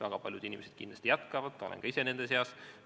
Väga paljud inimesed kindlasti jätkavad, olen ka ise nende seas.